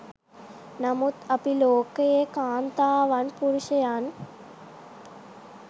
නමුත් අපි ලෝකයේ කාන්තාවන් පුරුෂයන්